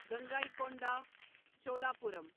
Gangaikonda Cholapuram